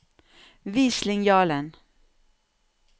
Vis linjalen